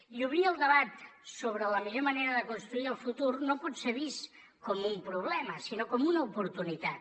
i obrir el debat sobre la millor manera de construir el futur no pot ser vist com un problema sinó com una oportunitat